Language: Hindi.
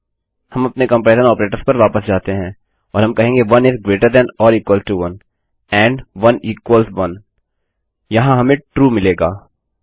हम अपने कम्पेरिज़न ऑपरेटर्स पर वापस जाते हैं और हम कहेंगे 1 इस greater than or equal to 1 and 1 equal 1 if 1 1 से बड़ा या बराबर है एंड1 1 के बराबर है यहाँ हमें ट्रू मिलेगा